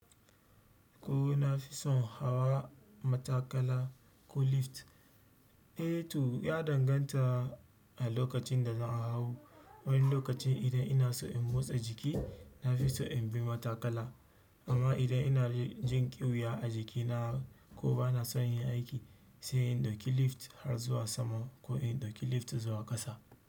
Ka na fi son hawa matakala ko lift? Eh to ya danganta a lokacin da za a hau. Wani lokacin idan ina so in motsa jiki, na fi so in bi matakala. Amma idan ina jin ƙiwuya a jikina ko ba na son yin aiki, sai in ɗauki lift har zuwa sama ko in ɗauki lift zuwa ƙasa.